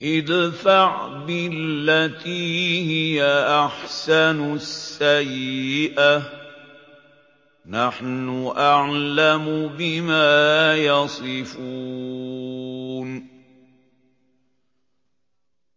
ادْفَعْ بِالَّتِي هِيَ أَحْسَنُ السَّيِّئَةَ ۚ نَحْنُ أَعْلَمُ بِمَا يَصِفُونَ